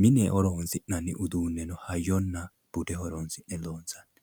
mine horonsi'nanni uduunne hayyonna bude horonsi'ne loonsanni